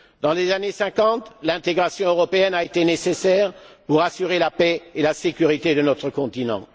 Dans les années 50, l'intégration européenne a été nécessaire pour assurer la paix et la sécurité de notre continent.